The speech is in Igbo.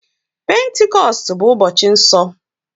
Pentikọstụ bụ ụbọchị nsọ.